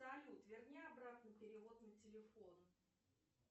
салют верни обратно перевод на телефон